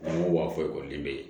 N ko waa foyi kɔni bɛ yen